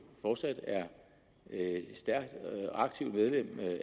fortsat er stærkt aktiv medlem